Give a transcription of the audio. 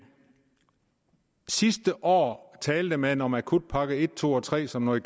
sidste år talte man om akutpakke en to og tre som noget